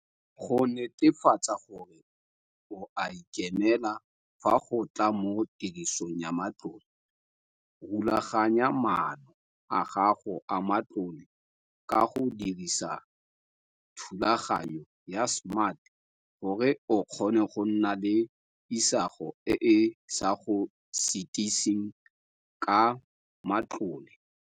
Go netefatsa gore o a ikemela fa go tla mo tirisong ya matlole, rulaganya maano a gago a matlole ka go dirisa thulaganyo ya SMART gore o kgone go nna le isago e e sa go sitiseng ka matlole.